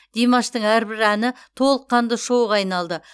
димаштың әрбір әні толыққанды шоуға айналды